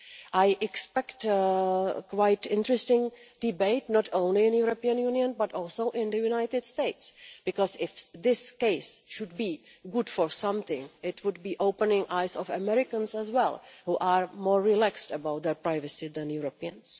I expect quite an interesting debate, not only in the European Union, but also in the United States. If this case could be good for something, it would be opening the eyes of Americans as well, who are more relaxed about their privacy than Europeans.